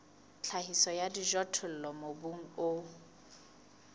tlhahiso ya dijothollo mobung o